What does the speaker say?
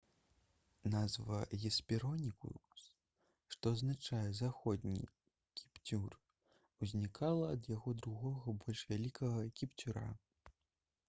назва «гесперонікус» што азначае «заходні кіпцюр» узнікла ад яго другога больш вялікага кіпцюра